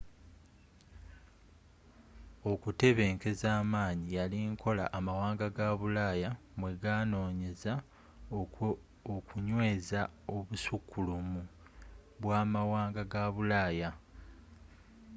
okutebenkeza amanyi yali nkola amawanga ga bulaaya mwe ganoonyeza okunyweeza obusukkulumu bwa amwanga ga bulaaya